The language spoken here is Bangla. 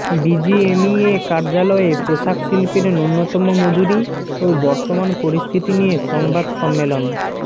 বিজিএমইএ কার্যালয়ে পোশাক শিল্পের ন্যূনতম মজুরি ও বর্তমান পরিস্থিতি নিয়ে সংবাদ সম্মেলন